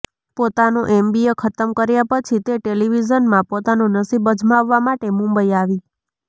પોતાનું એમબીએ ખતમ કર્યા પછી તે ટેલિવિઝનમાં પોતાનું નસીબ અજમાવવા માટે મુંબઈ આવી